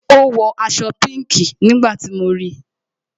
Ó wọ aṣọ pinki nígbà tí mo ríi